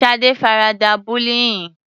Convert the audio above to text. Shade farada bullying.